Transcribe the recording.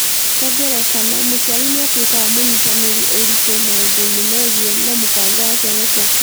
Kwa ngerekano, mũciari nĩ atuĩkaga mũnyitanĩri ũritũ maũndũ-inĩ megiĩ na mũbango wa Ciana ciake.